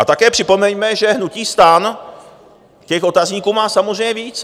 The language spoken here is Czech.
A také připomeňme, že hnutí STAN těch otazníků má samozřejmě víc.